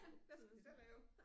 Hvad skal vi så lave?